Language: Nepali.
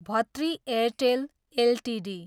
भतृ एयरटेल एलटिडी